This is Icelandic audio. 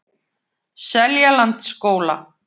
Seljalandsskóla